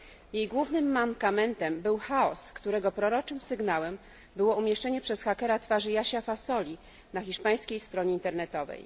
Jej głównym mankamentem był chaos, którego proroczym sygnałem było umieszczenie przez hakera twarzy Jasia Fasoli na hiszpańskiej stronie internetowej.